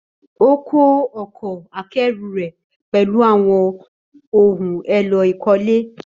Ó kó ọkọ̀ akẹ́rù rẹ̀ pẹ̀lú àwọn ohun èlò ìkọ́lé.